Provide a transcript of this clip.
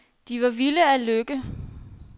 De var vilde af lykke.